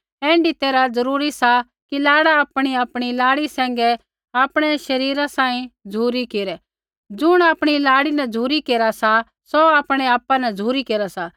ऐण्ढी तैरहा जरूरी सा कि लाड़ा आपणीआपणी लाड़ी सैंघै आपणै शरीरा बराबर झ़ुरी केरै ज़ुण आपणी लाड़ी न झ़ुरी केरा सा सौ आपणै आपा न झ़ुरी केरा सा